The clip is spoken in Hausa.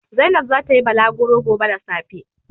Zainab za ta yi balagro gobe da safe.